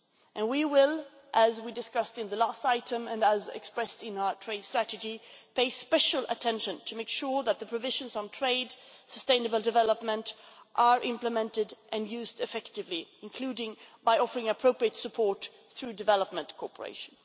And we will, as we discussed in the last item and as expressed in our trade strategy, pay special attention in order to make sure that the provisions on trade and sustainable development are implemented and used effectively, including by offering appropriate support through development cooperation.